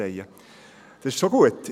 Das ist schon gut;